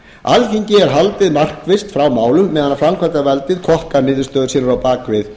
alþingi er haldið markvisst frá málum meðan framkvæmdavaldið flokkar niðurstöður sínar á bak við